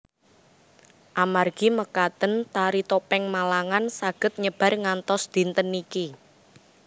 Amargi mekaten Tari Topeng Malangan saged nyebar ngantos dinten niki